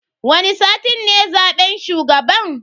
Wani satin ne zaben shugaban.